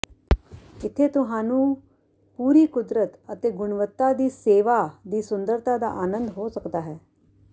ਇੱਥੇ ਤੁਹਾਨੂੰ ਪੂਰੀ ਕੁਦਰਤ ਅਤੇ ਗੁਣਵੱਤਾ ਦੀ ਸੇਵਾ ਦੀ ਸੁੰਦਰਤਾ ਦਾ ਆਨੰਦ ਹੋ ਸਕਦਾ ਹੈ